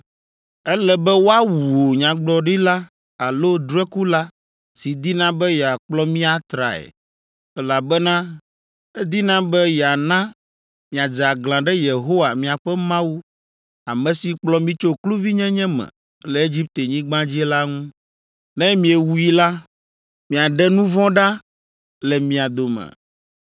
“Ele be woawu nyagblɔɖila alo drɔ̃ekula si dina be yeakplɔ mi atrae, elabena edina be yeana miadze aglã ɖe Yehowa, miaƒe Mawu, ame si kplɔ mi tso kluvinyenye me le Egiptenyigba dzi la ŋu. Ne miewui la, miaɖe nu vɔ̃ ɖa le mia dome.